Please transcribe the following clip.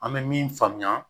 An bɛ min faamuya